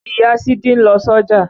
Ìya Sídí ń lọ sọ́jà